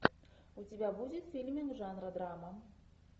у тебя будет фильмик жанра драма